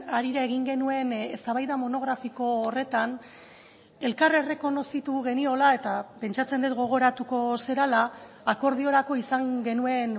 harira egin genuen eztabaida monografiko horretan elkar errekonozitu geniola eta pentsatzen dut gogoratuko zarela akordiorako izan genuen